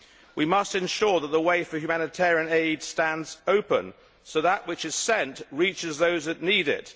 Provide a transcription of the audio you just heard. We must ensure that the way for humanitarian aid stands open so that which is sent reaches those that need it.